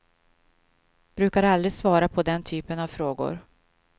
Brukar aldrig svara på den typen av frågor.